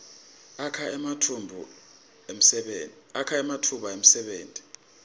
akha ematfuba emsebenti